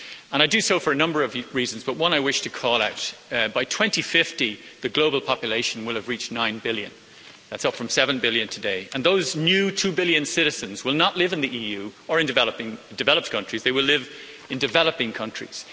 I do so for a number of reasons, but one I wish to call out. By 2050, the global population will have reached 9 billion that's up from 7 billion today. And those 2 billion new citizens will not live in the EU or in developed countries they will live in developing countries.